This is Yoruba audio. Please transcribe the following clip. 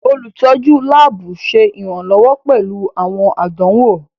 Olutọju laabu ṣe iranlọwọ pẹlu awọn àdánwò.